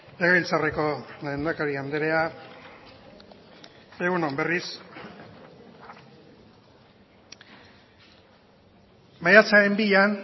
legebiltzarreko lehendakari andrea egun on berriz maiatzaren bian